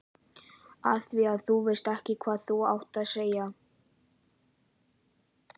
Afþvíað þú veist ekki hvað þú átt að segja.